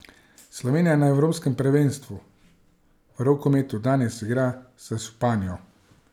Slovenija na evropskem prvenstvu v rokometu danes igra s Španijo.